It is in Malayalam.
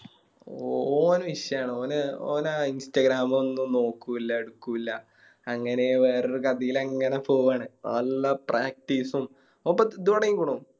ഓൻ വിഷയാണ് ഓന് Instagram ഒന്നും നോക്കൂല എടുക്കൂല അങ്ങനെ വേറൊരു കഥയിലെങ്ങനെ പോവാണ് നല്ല Practise ഉം ഓൻറെ ഇത് തൊടങ്ങീക്കുണു